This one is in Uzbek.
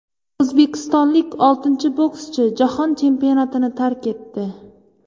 O‘zbekistonlik oltinchi bokschi Jahon chempionatini tark etdi.